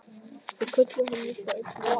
Þau kölluðu hana líka öll Lillu.